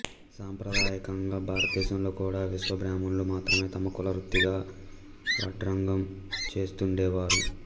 సాంప్రదాయకంగా భారతదేశంలో కూడా విశ్వబ్రాహ్మణులు మాత్రమే తమ కులవృత్తిగా వడ్రంగం చేస్తుండేవారు